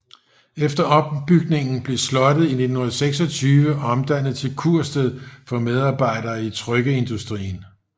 Efter ombygningen blev slottet i 1926 omdannet til kursted for medarbejdere i trykkeindustrien